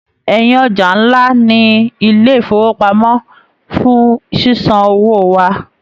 Ẹyin ọja nlá ní ilé ifowopamọ fún ṣiṣanwo wà.